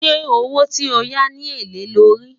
ṣé owó tí ọ yá ní èlé ló rí?